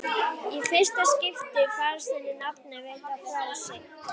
Í fyrsta skipti finnst henni nafnið hennar veita frelsi.